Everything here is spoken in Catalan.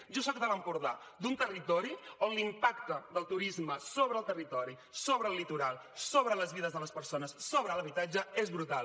jo soc de l’empordà d’un territori on l’impacte del turisme sobre el territori sobre el litoral sobre les vides de les persones sobre l’habitatge és brutal